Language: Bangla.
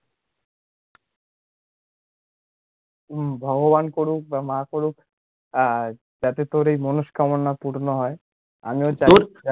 হুম ভগবান করুক, বা, মা করুক আ যাতে তোর এই মনস্কামনা পূর্ণ হয়, আমিও চাই